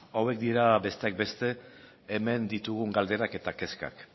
hauek dira besteak beste hemen ditugun galderak eta kezkak